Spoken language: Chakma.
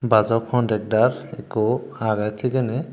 bajo contacdar ekku agey thigey ney.